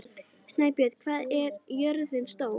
Snæbjörg, hvað er jörðin stór?